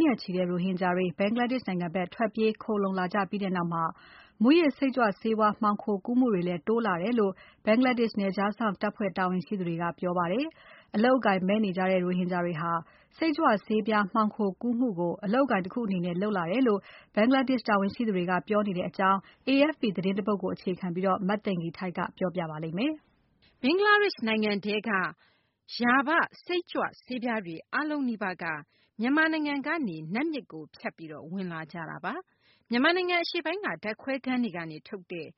နဲ့ချီတဲ့ ရိုဟင်ဂျာတွေ ဘင်္ဂလားဒေရှ့်ကို ထွက်ပြေးလာတာနဲ့ အတူ စိတ်ကြွ မူးယစ်ဆေးဝါး မှောင်ခိုကူးမှုလည်း တိုးလာတယ်လို့ ဘင်္ဂလားဒေရှ့် နယ်ခြားစောင့်တပ်ဖွဲ့ တာဝန်ရှိသူတွေက ပြောဆိုကြပါတယ်။ အလုပ်အကိုင်မဲ့ ရိုဟင်ဂျာတွေက စိတ်ကြွဆေးပြား မှောင်ခိုကူးမှုကို အလုပ်အကိုင် တခုအနေနဲ့ လုပ်လာတယ်ဆိုပြီးလည်း ပြောဆိုကြပါတယ်။ AFP သတင်းတပုဒ်ကို မသိင်္ဂ ီထိုက် ပြန်ပြောပြမှာပါ။ ဘင်္ဂလားဒေရှ့် နိုင်ငံထဲက စိတ်ကြွဆေး ရာဘ တွေ အားလုံးနီးပါးက မြန်မာနိုင်ငံတွင်းကနေ နတ်မြစ်ကို ဖြတ်ပြီး ဝင်လာကြတာပါ။ မြန်မာနိုင်ငံ အရှေ့ပိုင်း က ဓာတ်ခွဲခန်းတွေကနေ ထုတ်တဲ့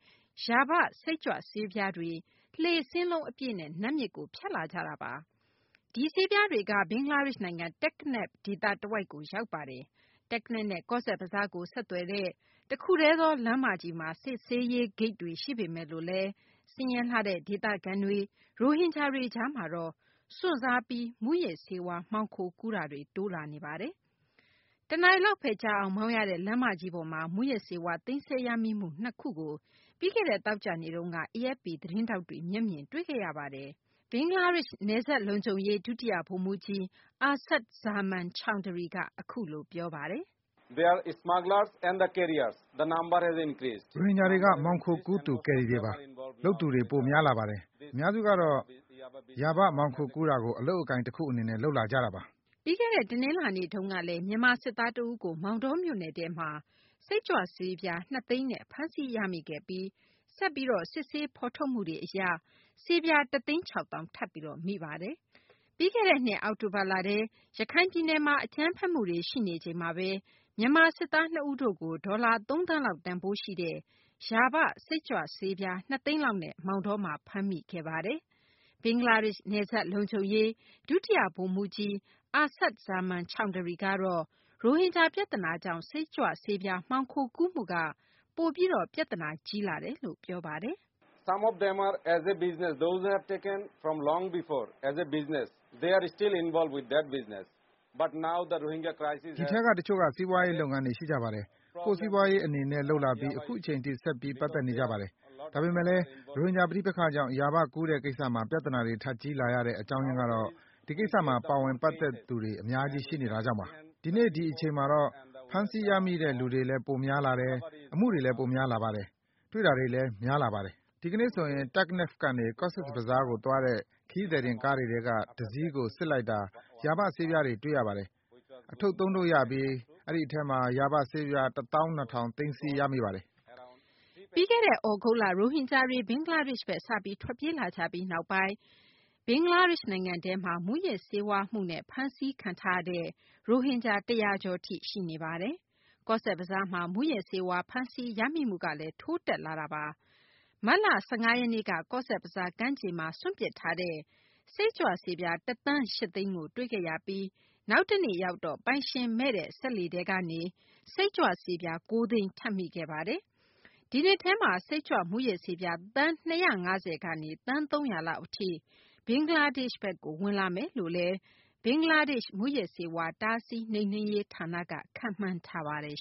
ရာဘ စိတ်ကြွဆေးပြားတွေ လှေစင်းလုံး အပြည့်နဲ့ နတ်မြစ်ကို ဖြတ်လာကြတာပါ။ ဒီဆေးပြားတွေက ဘင်္ဂလားဒေရှ့် နိုင်ငံ တက္ကနဖ် ဒေသတဝိုက်ကိုရောက်ပါတယ်။ တက္ကနဖ်နဲ့ ကောဇ့်ဘဇားကို ဆက်သွယ်တဲ့ တခုတည်းသော လမ်းမကြီးမှာ စစ်ဆေးရေးဂိတ်တွေ ရှိပေမယ်လို့လည်း ဆင်းရဲလှတဲ့ ဒေသခံတွေ၊ ရိုဟင်ဂျာတွေကြားမှာတော့ စွန့်စားပြီး မူးယစ်ဆေးဝါး မှောင်ခိုကူးမှု တိုးလာနေပါတယ်။ တနာရီလောက်ဘဲ ကြာအောင်မောင်းရတဲ့ လမ်းမကြီးပေါ်မှာ မူးယစ်ဆေးဝါး သိမ်းဆည်းရမိမှု နှစ်ခုကို ပြီးခဲ့တဲ့ သောကြာနေ့တုန်းက AFP သတင်းထောက်တွေ မျက်မြင်တွေ့ခဲ့ရပါတယ်။ ဘင်္ဂလားဒေရှ့် နယ်စပ်လုံခြုံရေး ဒုတိယ ဗိုလ်မှူးကြီး Asadud Zaman Chowdhury က အခုလို ပြောပါတယ်။ "ရိုဟင်ဂျာတွေက မှောင်ခိုကူးသူ ကယ်ရီတွေပါ။ လုပ်သူတွေ ပိုများလာပါတယ်။ အများစုကတော့ ရာဘ မှောင်ခိုကူးတာကို အလုပ်အကိုင် တခုအနေနဲ့ လုပ်လာကြတာပါ။" ပြီးခဲ့တဲ့ တနလာၤနေ့ တုန်းကလည်း မြန်မာစစ်သားတဦးကို မောင်တောမြို့နယ်ထဲမှာ စိတ်ကြွဆေးပြား ၂ သိန်းနဲ့ ဖမ်းဆီးရမိခဲ့ပြီး ဆက်ပြီး စစ်ဆေးမှုတွေ အရ ဆေးပြား တသိန်း၆ သောင်း ထပ်ပြီး ဖမ်းမိခဲ့ပါတယ်။ ပြီးခဲ့တဲ့နှစ် အောက်တိုဘာလထဲ ရခိုင်ပြည်နယ်မှာ အကြမ်းဖက်မှုတွေ ရှိနေချိန်မှာဘဲ မြန်မာ စစ်သား နှစ်ဦးတို့ကို ဒေါ်လာ သုံးသန်းလောက် တန်ဖိုးရှိတဲ့ ရာဘ စိတ်ကြွဆေးပြား ၂ သိန်းလောက်နဲ့ မောင်တောမှာ ဖမ်းခံခဲ့ရတာပါ။ ဘင်္ဂလားဒေရှ့် နယ်စပ်လုံခြုံရေး ဒုတိယ ဗိုလ်မှူးကြီး Asadud Zaman Chowdhury ကတော့ ရိုဟင်ဂျာ ပြသနာကြောင့် စိတ်ကြွဆေးပြား မှောင်ခိုကူးမှုမှာ ပြသနာ ပိုကြီးလာစေတယ်လို့ ပြောပါတယ်။ "ဒီထဲက တချို့က စီးပွားရေး လုပ်ငန်းတွေ ရှိကြပါတယ်။ ကိုယ့်စီးပွားရေး အနေနဲ့ လုပ်လာပြီး အခုအချိန်ထိ ဆက်ပြီး ပတ်သက်နေကြပါတယ်။ဒါပေမယ့်လည်း ရိုဟင်ဂျာ ပဋိပက္ခကြောင့် ရာဘ ကူးတဲ့ ကိစ္စမှာ ပြသနာတွေ ထပ်ကြီးလာရတဲ့ အကြောင်းရင်းကတော့ ဒီကိစ္စမှာ ပါဝင် ပတ်သက်သူတွေ အများကြီး ရှိနေတာကြောင့်ပါ။" "ဒီနေ့ဒီအချိန်မှာတော့ ဖမ်းဆီးရမိတဲ့ လူတွေလည်း ပိုများလာတယ်၊ အမှုတွေလည်း များလာပါတယ်။ တွေ့တာတွေလည်း များလာပါတယ်။" "ဒီကနေ့ ဆိုရင် တက်ကနဖ် ကနေ ကော့ဇ်ဘဇားကို သွားတဲ့ ခရီးသည်တင် ကားတွေထဲက တစီးကို စစ်လိုက်တာ ရာဘ ဆေးပြားတွေ တွေ့ပါတယ်။ အထုပ်သုံးထုပ်ရပြီး အထဲမှာ ရာဘ ဆေးပြား ၁ သောင်း ၂ ထောင် သိမ်းဆည်းရမိပါတယ်။" ပြီးခဲ့တဲ့ သြဂုတ်လ ရိုဟင်ဂျာတွေ ဘင်္ဂလားဒေရှ့်ဘက် စပြီး ထွက်ပြေးလာကြပြီး နောက်ပိုင်းကစလို့ မူးယစ်ဆေးဝါးမှုနဲ့ ရိုဟင်ဂျာ ၁၀၀ ကျော် ဘင်္ဂလားဒေရှ့်ဘက်မှာ ဖမ်းဆီးရမိခဲ့တာပါ။ ကောဇ့်ဘဇားမှာ မူးယစ်ဆေးဝါး ဖမ်းဆီးရမိမှုကလည်း ထိုးတက်လာပါတယ်။ မတ်လ ၁၅ ရက်နေ့က ကောဇ့်ဘဇားက ကမ်းခြေမှာ စွန့်ပစ်ထားခဲ့တဲ့ စိတ်ကြွဆေးပြား ၁ သန်း ၈ သိန်း တွေ့ခဲ့ရပြီး နောက်တနေ့ရောက်တော့ ပိုင်ရှင် မရှိတဲ့ စက်လှေထဲကနေ စိတ်ကြွ ဆေးပြား ၉ သိန်း ထပ်မိခဲ့ပါတယ်။ ဒီနှစ်ထဲမှာ စိတ်ကြွမူးယစ်ဆေးပြား သန်း ၂၅၀ - ကနေ သန်း ၃၀၀ လောက် အထိ ဘင်္ဂလားဒေရှ့်ဘက်ကို ဝင်လာမယ်လို့လည်း ဘင်္ဂလားဒေရှ့် မူးယစ်ဆေးဝါး တားဆီးနှိမ်နင်းရေး ဌာနက ခန့်မှန်းထားပါတယ်